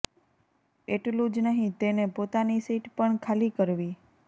એટલું જ નહીં તેને પોતાની સીટ પણ ખાલી કરવી